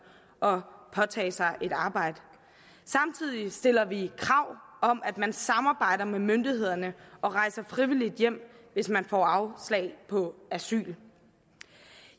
og påtage sig et arbejde samtidig stiller vi krav om at man samarbejder med myndighederne og rejser frivilligt hjem hvis man får afslag på asyl